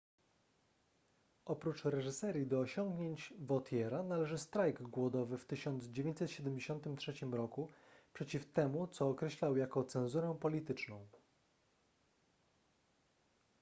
oprócz reżyserii do osiągnięć vautiera należy strajk głodowy w 1973 roku przeciw temu co określał jako cenzurę polityczną